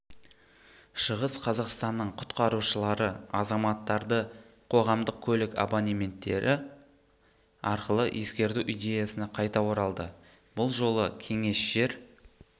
шығыс қазақстанның құтқарушылары азаматтарды қоғамдық көлік абонементтері арқылы ескерту идеясына қайта оралды бұл жолы кеңес жер